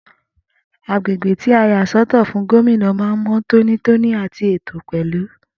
Agbègbè tí a yà sọ́tọ̀ fún Gómìnà man mọ tóní tóní àti ètò pẹlú